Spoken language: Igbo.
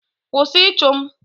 Kwụsị ịchụ m!